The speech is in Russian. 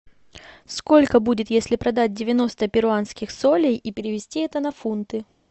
сколько будет если продать девяносто перуанских солей и перевести это на фунты